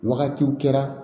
Wagatiw kɛra